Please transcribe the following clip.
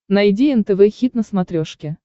найди нтв хит на смотрешке